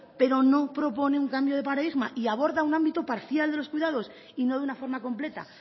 pero no propone un cambio de paradigma y aborda un ámbito parcial de los cuidados y no de una forma completa